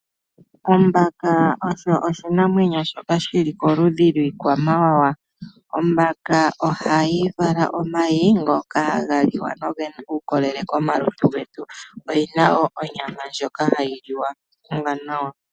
Ombaka osho oshinamwenyo shoka shili koludhi lwiikwamawawa. Ombaka ohayi vala omayi ngoka haga liwa nogena uukolele komalutu getu. Oyina woo onyama ndjoka hayiliwa ombaka.